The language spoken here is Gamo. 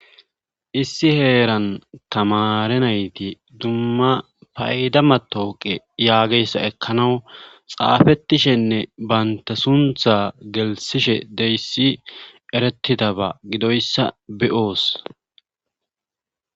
issi heeran tamare nayti dumma payda matooqe yaageyssa ekkanawu xaafettishenne banta suntha gelsishe deyssi eretidaba gidoyssa be'oos